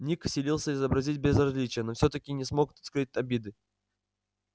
ник силился изобразить безразличие но всё-таки не смог скрыть обиды